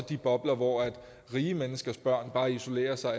de bobler hvor rige menneskers børn bare isolerer sig